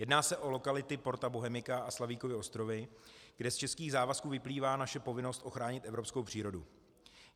Jedná se o lokality Porta Bohemica a Slavíkovy ostrovy, kde z českých závazků vyplývá naše povinnost ochránit evropskou přírodu.